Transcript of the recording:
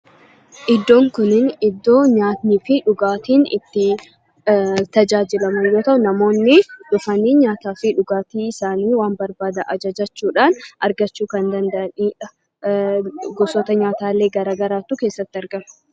Iddoon kunniin iddoo nyaanniifi dhugaatiin itti tajaajilamnu yoo ta'u, namoonni dhufanii nyaataafi dhugaatii isaanii waan barbaadan ajajachuudhaan argachuu kan danda'anidha. Gosoota nyaataalee garagaraatu keessatti argama.